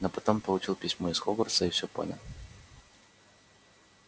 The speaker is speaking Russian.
но потом получил письмо из хогвартса и всё понял